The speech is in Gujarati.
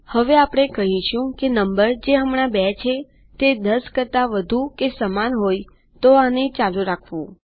હવે આપણે કહીશું કે નંબર જે હમણાં ૨ છે તે ૧૦ કરતા વધુ કે સમાન હોયજે સમાન નથીતો આને ચાલુ રાખવું